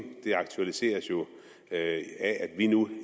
det aktualiseres af at vi nu